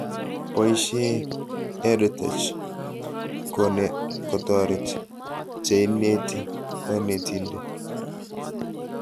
Boishe EdTech kotoret cheineti konetindet